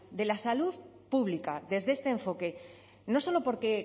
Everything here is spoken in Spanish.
de la salud pública desde este enfoque no solo porque